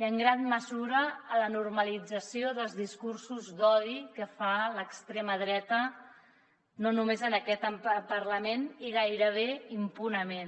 i en gran mesura gràcies a la normalització dels discursos d’odi que fa l’extrema dreta no només en aquest parlament i gairebé impunement